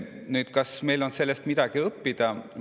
Nüüd, kas meil on sellest midagi õppida?